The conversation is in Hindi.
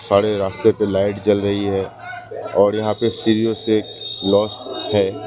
सारे रास्ते पे लाइट जल रही है और यहां पे सीरीओ से लॉस है।